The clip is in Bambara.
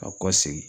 Ka kɔ segin